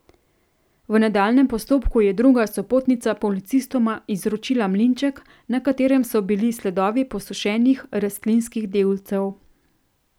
V nadaljnjem postopku je druga sopotnica policistoma izročila mlinček, na katerem so bili sledovi posušenih rastlinskih delcev.